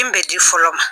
Min bɛ di fɔlɔ ma